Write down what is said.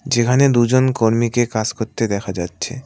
যেখানে দুজন কর্মীকে কাজ করতে দেখা যাচ্ছে।